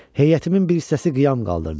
Heyətimin bir hissəsi qiyam qaldırdı.